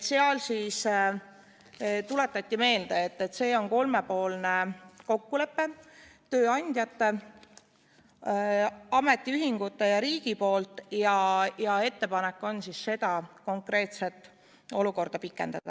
Tuletati meelde, et see on kolmepoolne kokkulepe tööandjate, ametiühingute ja riigi vahel ning ettepanek on seda konkreetset olukorda pikendada.